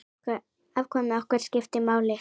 Atkvæði okkar skiptir máli.